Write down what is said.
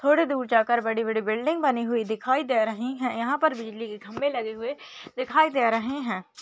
थोड़ी दूर जाकर बड़ी बड़ी बिल्डिंग बनी हुई दिखाई दे रही है। यहां पर बिजली के खंवे लगे हुए दिखाई दे रहे हैं।